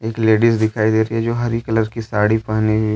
Ladies दिखाई दे रही है जो हरी कलर की साड़ी पहनी है।